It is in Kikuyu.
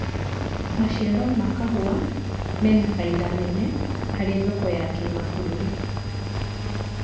maciaro ma kahũa mena baida nene harĩ thoko ya kĩmabururi